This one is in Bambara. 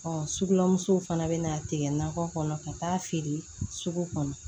sugulamuso fana bɛ na tigɛ nakɔ kɔnɔ ka taa feere sugu kɔnɔ